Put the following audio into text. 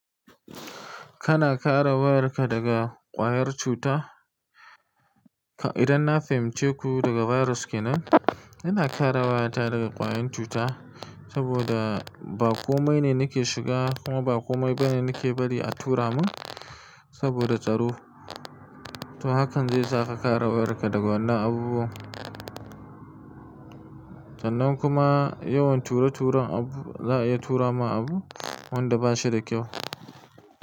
Kana kare wayarka daga ƙwayar cuta? Idan na fahimce ku daga virus kenan, ina kare wayata daga ƙwayoyin cuta saboda ba komai ne nake shiga kuma ba komai ba ne nake bari a tura mun saboda tsaro. To hakan zaisa ka kare wayarka daga wannan abubuwan. Sannan kuma yawan ture turen abu, za'a iya tura ma abu wanda ba shi da kyau.